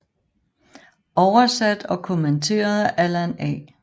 Oversat og kommenteret af Allan A